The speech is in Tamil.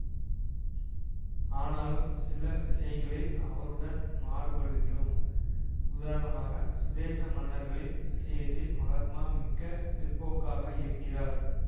ஆனாலும் சில விஷயங்களில் அவருடன் மாறுபடுகிறோம் உதாரணமாக சுதேச மன்னர்களின் விஷயத்தில் மகாத்மா மிக்க பிற்போக்காக இருக்கிறார்